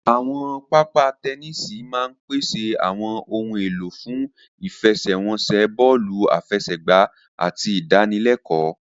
Àwọn pápá tẹníìsì máa ń pèsè àwọn ohun èlò fún ìfẹsẹ̀wọnsẹ̀ bọ́ọ̀lù àfẹsẹ̀gbá àti ìdánilẹ́kọ̀ọ